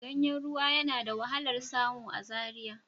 Ganyen ruwa yana da wahalar samu a Zaria